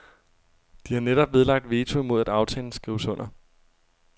De har netop nedlagt veto imod at aftalen skrives under.